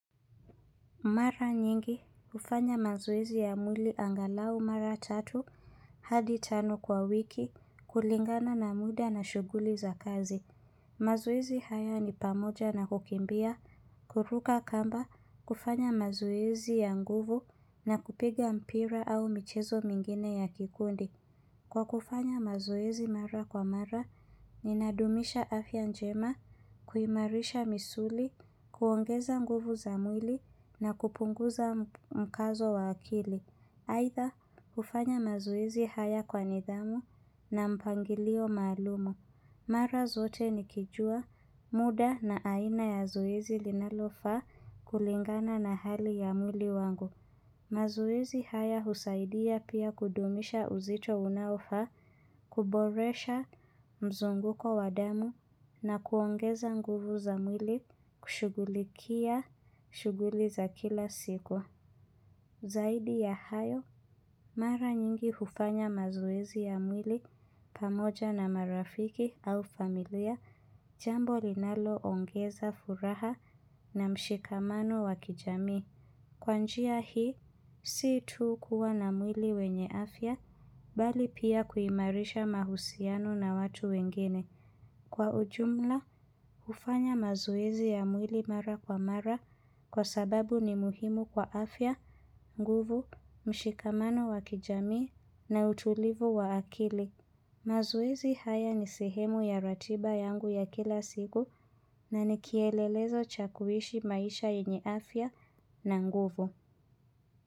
Mara nyingi, hufanya mazuwezi ya mwili angalau mara tatu, hadi tano kwa wiki, kulingana na muda na shuguli za kazi. Mazoezi haya ni pamoja na kukimbia, kuruka kamba, kufanya mazoezi ya nguvu na kupiga mpira au michezo mingine ya kikundi. Kwa kufanya mazoezi mara kwa mara, ninadumisha afya njema, kuimarisha misuli, kuongeza nguvu za mwili na kupunguza mkazo wa akili. Haitha, kufanya mazoezi haya kwa nidhamu na mpangilio maalumu. Mara zote nikijua, muda na aina ya zoezi linalofaa kulingana na hali ya mwili wangu. Mazwezi haya husaidia pia kudumisha uzito unaofaa, kuboresha mzunguko wadamu na kuongeza nguvu za mwili kushughulikia shughuli za kila siku. Zaidi ya hayo, mara nyingi hufanya mazoezi ya mwili pamoja na marafiki au familia, jambo linalo ongeza furaha na mshikamano wakijamii. Kwa njia hii, si tu kuwa na mwili wenye afya, bali pia kuimarisha mahusiano na watu wengine. Kwa ujumla, hufanya mazoezi ya mwili mara kwa mara kwa sababu ni muhimu kwa afya, nguvu, mshikamano wakijamii na utulivu wa akili. Mazoizi haya ni sehemu ya ratiba yangu ya kila siku na nikielelezo chakuishi maisha yenye afya na nguvu.